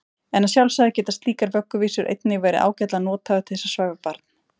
En að sjálfsögðu geta slíkar vögguvísur einnig verið ágætlega nothæfar til þess að svæfa barn.